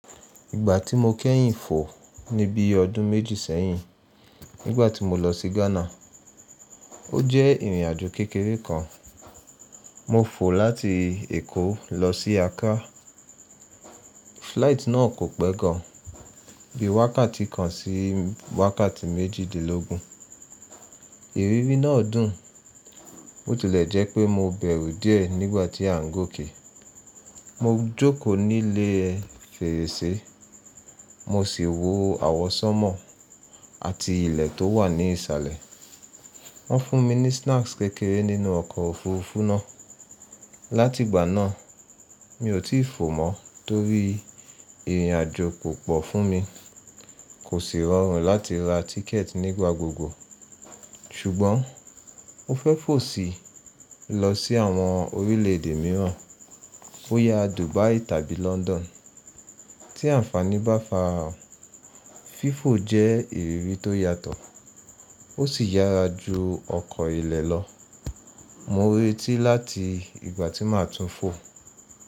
Ìgbà tí mo kẹ́yìn fò ní bí ọdún méjì sẹ́yìn nígbà tí mo lọ sí Ghana. Ó jẹ́ ìrìnàjò kékeré kan. Mo fò láti Èkó lọ sí Accra. Flight náà kò pẹ́ gan, bí wákàtí kan sí wákàtí méjìdínlógún. Ìrírí náà dùn, ó tilẹ̀ jẹ́ pé mo bẹ̀rù díẹ̀ nígbà tí à ń gòkè. Mo jókòó ní ilé fèrèsé, mo sì wò àwọsánmọ̀ àti ilẹ̀ tó wà ní ìsàlẹ̀. Wọ́n fún mi ní snacks kékeré nínú ọkọ̀ òfuurufú náà. Láti ìgbà náà, mi ò tí fò mọ́ torí ìrìnàjò kò pọ̀ fún mi, kò sì rọrùn láti ra tíkẹ̀ẹ̀tì nígbà gbogbo. Ṣùgbọ́n mo fẹ́ fò si lọ sí àwọn orílẹ̀èdè mìíràn boyà Dubai tàbí London. Tí àǹfààní bá farahan, fífò jẹ́ ìrírí tó yàtọ̀, ó sì yára ju ọkọ̀ ilẹ̀ lọ. Mo retí láti ìgbà tí màá tún fò.